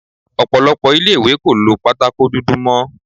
Ọ̀pọ̀lọpọ̀ ilé-ìwé kò lo pátákó dúdú mó.